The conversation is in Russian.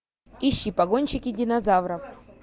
ищи погонщики динозавров